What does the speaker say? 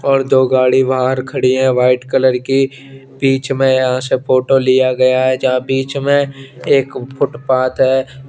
और दो गाड़ी बाहर खड़ी हैं वाइट कलर की बीच में से अ फोटो लिया गया है बीच में एक फुटपाथ है।